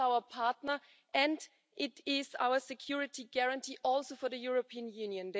It is our partner and it is our security guarantee also for the European Union.